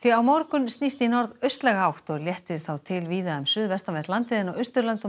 á morgun snýst í átt og léttir þá til víða um suðvestanvert landið en á Austurlandi og með